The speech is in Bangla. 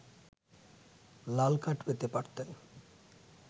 লাল কার্ড পেতে পারতেন